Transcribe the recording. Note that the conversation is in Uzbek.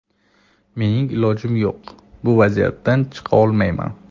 Mening ilojim yo‘q, bu vaziyatdan chiqa olmayman.